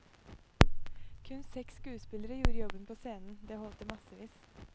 Kun seks skuespillere gjorde jobben på scenen, det holdt i massevis.